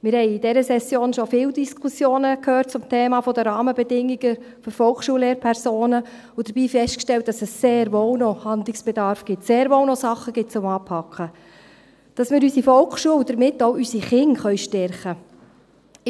Wir haben in dieser Session schon viele Diskussionen zum Thema «Rahmenbedingungen für Volksschul-Lehrpersonen» gehört und dabei festgestellt, dass es sehr wohl noch einen Handlungsbedarf sowie Dinge zum Anpacken gibt, damit wir unsere Volksschule, und damit auch unsere Kinder, stärken können.